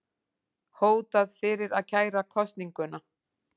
Hótað fyrir að kæra kosninguna